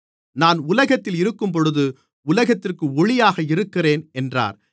நான் உலகத்தில் இருக்கும்போது உலகத்திற்கு ஒளியாக இருக்கிறேன் என்றார்